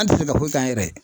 An te se ka foyi k' an yɛrɛ ye